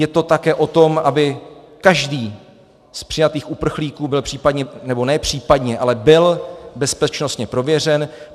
Je to také o tom, aby každý z přijatých uprchlíků byl případně, nebo ne případně, ale byl bezpečnostně prověřen.